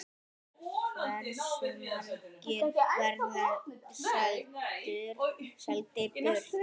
Hversu margir verða seldir burt?